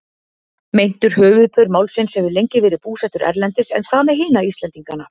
Meintur höfuðpaur málsins hefur lengi verið búsettur erlendis en hvað með hina Íslendingana?